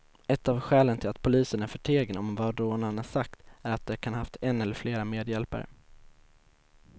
Ett av skälen till att polisen är förtegen om vad rånarna sagt är att de kan ha haft en eller flera medhjälpare.